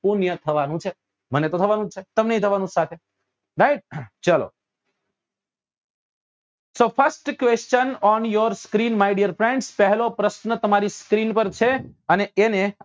થવા નું છે મને તો થવા નું જ છે તમનેય થવા નું સાથે right ચાલો તો first question on your screen my dear friends પહેલો પ્રશ્ન તમારી screen પર છે અને એને